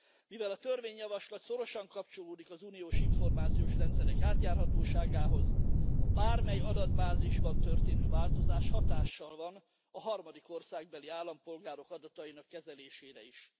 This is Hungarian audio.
Mivel a törvényjavaslat szorosan kapcsolódik az uniós információs rendszerek átjárhatóságához a bármely adatbázisban történő változás hatással van a harmadik országbeli állampolgárok adatainak kezelésére is.